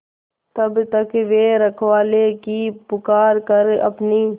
तब तक वे रखवाले की पुकार पर अपनी